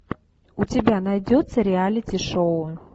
у тебя найдется реалити шоу